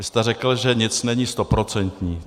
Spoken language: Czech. Vy jste řekl, že nic není stoprocentní.